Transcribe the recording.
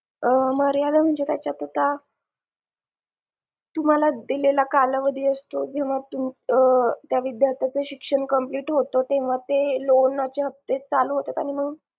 मर्यादा म्हणजे त्याच्या पुरता तुम्हाला दिलेला कालावधी असतो जेव्हा त्या विद्यार्थ्याचं शिक्षण complete होतं तेव्हा त्या loan चे हप्ते चालू होतात आणि मंग